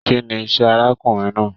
Kínní iṣẹ arákùnrin náà?